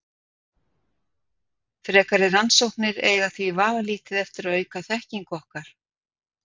Frekari rannsóknir eiga því vafalítið eftir að auka þekkingu okkar.